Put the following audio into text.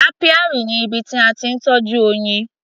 Apiary ni ibi tí a ti ń tọ́jú oyin.